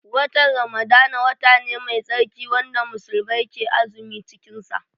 Watan Ramadana wata ne mai tsarki wanda musulmai ke azumi cikin sa